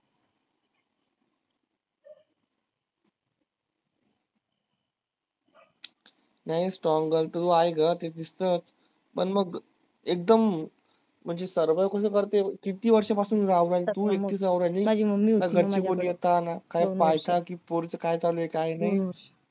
नाय strong girl तर तू आहेस ग पण मग एकदम म्हंजी सर्व गुण